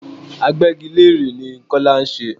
Agbégilére ni Kọ́lá ń ṣe.